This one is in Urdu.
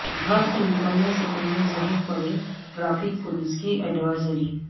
گھر سے نکلنے سے پہلے ضرور پڑھیں ٹریفک پولیس کی ایڈوائزری